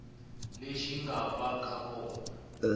lexi nga va ka kona